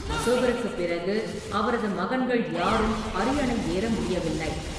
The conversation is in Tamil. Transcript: அசோகருக்குப் பிறகு அவரது மகன்கள் யாரும் அரியணை ஏற முடியவில்லை.